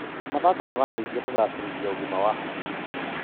Mathako marateithia kũgacĩrithia ũgima wa hakiri.